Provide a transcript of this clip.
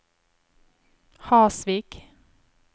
Hasvik